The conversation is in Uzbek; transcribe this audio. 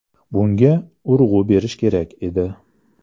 Bunga urg‘u berish kerak edi.